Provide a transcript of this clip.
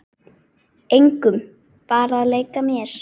Engum, bara að leika mér